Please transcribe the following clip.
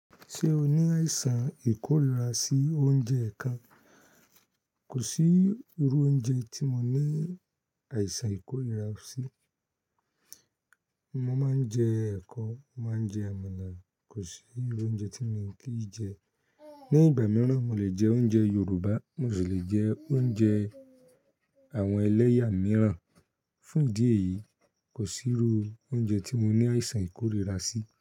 Ṣé o ní àìsàn ìkórira sí oúnjẹ ẹ̀ẹ̀kan? Kò sí irú oúnjẹ tí mo ní àìsàn ìkórira sí. Mo máa ń jẹ ẹ̀kọ, mo máa ń jẹ àmàlà. Kò sí irú oúnjẹ tí mi o kii jẹ. Ni ìgbà mìíràn, mo lè jẹ oúnjẹ Yorùbá, mo sì lè jẹ oúnjẹ àwọn ẹlẹ́yà mìíràn. Fún ìdí èyí, kò sí irú oúnjẹ tí mo ní àìsàn ìkórira sí.